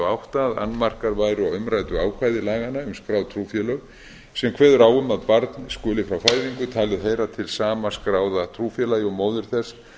átta að annmarkar væru á umræddu ákvæði laganna um skráð trúfélög sem kveður á um að barn skuli frá fæðingu talið hefur til sama skráða trúfélagi og móðir þess